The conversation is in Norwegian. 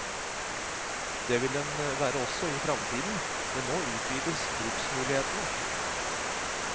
Det vil den være også i fremtiden, men nå utvides bruksmulighetene.